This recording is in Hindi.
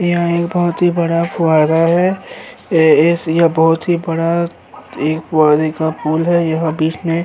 यह एक बहोत ही बड़ा फुव्वारा है। यह बहोत ही बड़ा एक फुव्वारे का पूल है। यह बीच में --